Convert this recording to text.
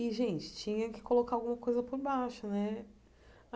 E, gente, tinha que colocar alguma coisa por baixo, né?